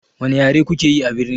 Wani yare kuke yi abirni?